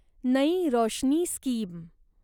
नयी रोशनी स्कीम